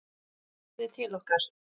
Hann heyrir til okkar.